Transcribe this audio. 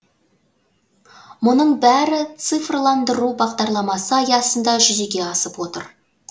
мұның бәрі цифрландыру бағдарламасы аясында жүзеге асып отыр